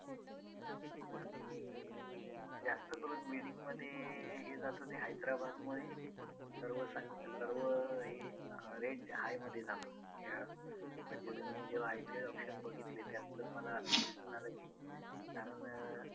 जास्त करून bidding मध्ये हे जात होते हैद्राबादमुळे सर्वच आणि सर्व हे range high मध्ये जातो खेळाडू म्हणजे मी जेव्हा IPL auction बघितली त्यात तर मला असं दिसून आलं की कारण